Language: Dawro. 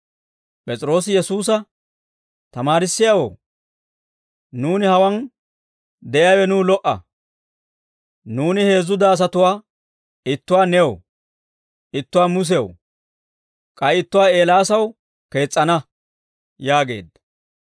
P'es'iroosi Yesuusa, «Tamaarissiyaawoo, nuuni hawaan de'iyaawe nuw lo"a; nuuni heezzu daasatuwaa ittuwaa new, ittuwaa Musew, k'ay ittuwaa Eelaasaw kees's'ana» yaageedda.